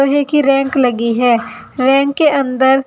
लोहे की रैंक लगी है रैंक के अंदर --